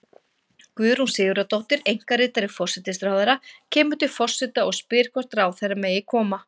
Guðrún Sigurðardóttir, einkaritari forsætisráðherra, kemur til forseta og spyr hvort ráðherra megi koma.